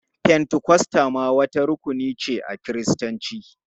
Fentikosta ma wata rukuni ce a Kiristanci.